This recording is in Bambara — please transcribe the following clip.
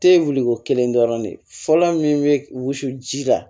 Te wuli ko kelen dɔrɔn de ye fɔlɔ min be wusu ji la